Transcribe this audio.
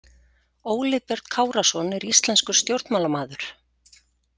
Óli Björn Kárason er íslenskur stjórnmálamaður.